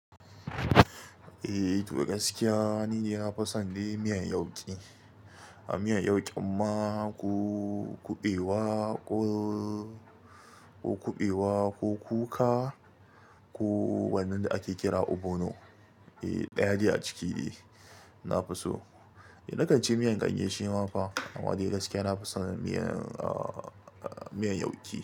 Eh, to gaskiya ni na fison dai miyan yauki ne. A miyan yauki mma ko kuɓewa, ko kuɓewa, ko kuka, ko wannan da ake kira ogbono. Eh, ɗaya ne a ciki na fiso. Eh, na kan ci miyan ganye shi ma fa amma dai gaskiya na fison miyan, ah, miyan yauki.